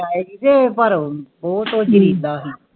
ਊ ਤੋਂ ਜਿੰਦਾ ਹੀ